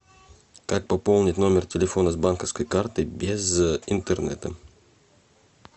как пополнить номер телефона с банковской карты без интернета